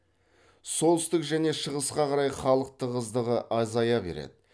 солтүстік және шығысқа қарай халық тығыздығы азая береді